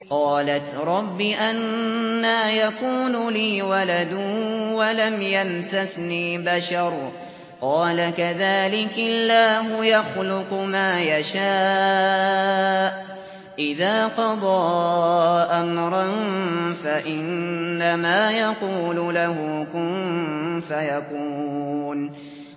قَالَتْ رَبِّ أَنَّىٰ يَكُونُ لِي وَلَدٌ وَلَمْ يَمْسَسْنِي بَشَرٌ ۖ قَالَ كَذَٰلِكِ اللَّهُ يَخْلُقُ مَا يَشَاءُ ۚ إِذَا قَضَىٰ أَمْرًا فَإِنَّمَا يَقُولُ لَهُ كُن فَيَكُونُ